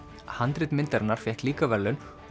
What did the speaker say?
handrit myndarinnar fékk líka verðlaun og